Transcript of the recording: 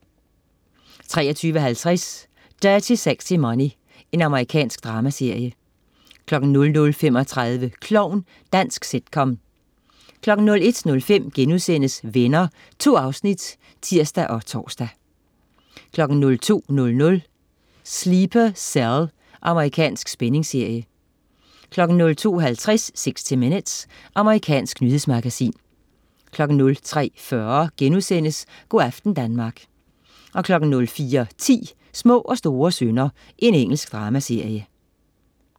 23.50 Dirty Sexy Money. Amerikansk dramaserie 00.35 Klovn. Dansk sitcom 01.05 Venner.* 2 afsnit (tirs og tors) 02.00 Sleeper Cell. Amerikansk spændingsserie 02.50 60 Minutes. Amerikansk nyhedsmagasin 03.40 Go' aften Danmark* 04.10 Små og store synder. Engelsk dramaserie